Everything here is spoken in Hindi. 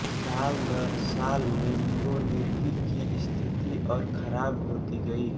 साल दर साल लेम्बोर्गिनी की स्थिति और खराब होती गयी